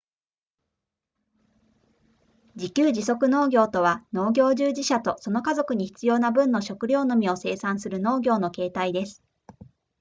自給自足農業とは農業従事者とその家族に必要な分の食料のみを生産する農業の形態です